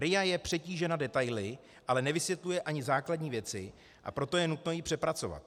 RIA je přetížena detaily, ale nevysvětluje ani základní věci, a proto je nutno ji přepracovat.